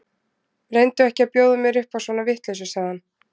Reyndu ekki að bjóða mér upp á svona vitleysu, sagði hann.